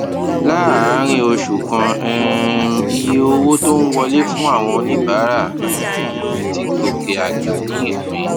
láàárín oṣù kan um iye owó tó ń wọlé fún àwọn oníbàárà um ti gòkè àgbà ní ìpín